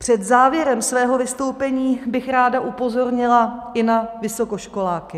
Před závěrem svého vystoupení bych ráda upozornila i na vysokoškoláky.